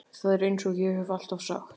Það er einsog ég hef alltaf sagt.